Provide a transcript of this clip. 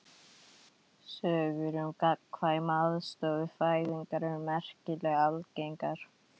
Sögur um gagnkvæma aðstoð við fæðingar eru merkilega algengar.